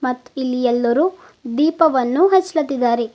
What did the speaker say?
ಮತ್ತು ಇಲ್ಲಿ ಎಲ್ಲರೂ ದೀಪವನ್ನು ಹಚ್ಲಾತಿದಾರೆ.